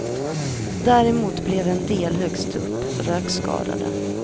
Däremot blev en del högst upp rökskadade.